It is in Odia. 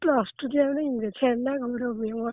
Plus two time ରେ ଆମ ଇଂରାଜୀ ଛେନା ଗୁଡ ହୁଏ ମୋର।